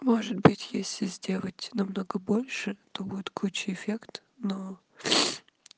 может быть если сделать намного больше то будет круче эффект но